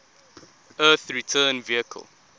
earth return vehicle